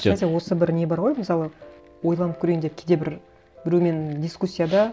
осы бір не бар ғой мысалы ойланып көрейін деп кейде бір біреумен дискуссияда